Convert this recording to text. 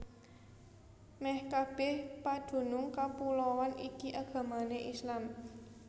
Mèh kabèh padunung kapuloan iki agamané Islam